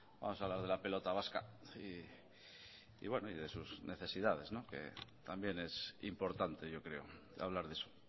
vamos a hablar de la pelota vasca y bueno de sus necesidades que también es importante yo creo hablar de eso